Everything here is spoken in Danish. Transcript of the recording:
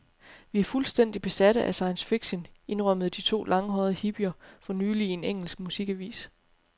Vi er fuldstændig besatte af science fiction, indrømmede de to langhårede hippier for nylig i en engelsk musikavis.